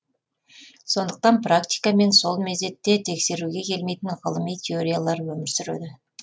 сондықтан практика мен сол мезетте тексеруге келмейтін ғылыми теориялар өмір сүреді